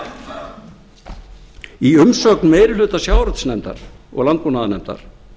nefndunum í umsögn meiri hluta sjávarútvegsnefndar og landbúnaðarnefndar